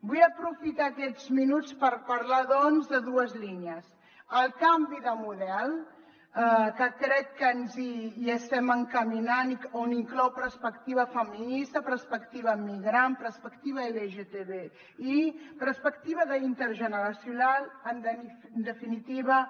vull aprofitar aquests minuts per parlar doncs de dues línies el canvi de model que crec que ens hi estem encaminant que inclou perspectiva feminista perspectiva migrant perspectiva lgtbi perspectiva intergeneracional en definitiva